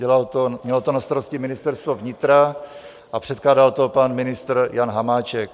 Mělo to na starosti Ministerstvo vnitra a předkládal to pan ministr Jan Hamáček.